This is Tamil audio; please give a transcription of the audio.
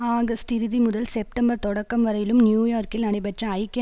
ஆகஸ்ட் இறுதி முதல் செப்டம்பர் தொடக்கம் வரையில் நியூயோர்கில் நடைபெற்ற ஜக்கிய